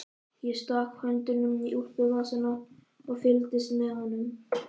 Ég stakk höndunum í úlpuvasana og fylgdist með honum.